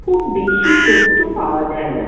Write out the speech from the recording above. খুব বেশি তথ্য পাওয়া যায় না।